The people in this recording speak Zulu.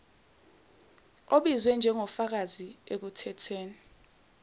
obizwe njengofakazi ekuthethweni